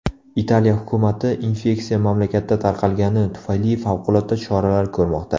Italiya hukumati infeksiya mamlakatda tarqalgani tufayli favqulodda choralar ko‘rmoqda.